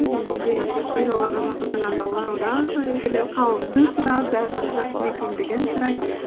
және де мен оларға жақындағанда олар одан сайын күліп қалымды сұрап барлығы жақсы ма екендігін сұрай